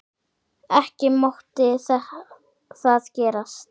Ekki mátti það gerast.